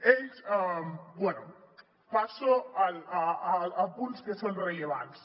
bé passo a punts que són rellevants